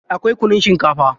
Akwai kunun shinkafa.